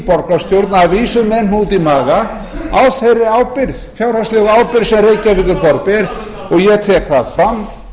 borgarstjórn að vísu með hnút í maga á þeirri fjárhagslegu ábyrgð sem reykjavíkurborg ber ég tek það fram